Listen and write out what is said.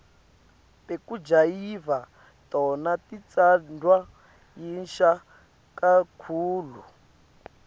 tekujayiva tona titsandvwa yinsha kakhulu